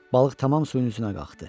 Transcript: Balıq tamam suyun üstünə qalxdı.